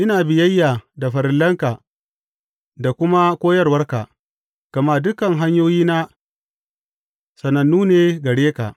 Ina biyayya da farillanka da kuma koyarwarka, gama dukan hanyoyina sanannu ne gare ka.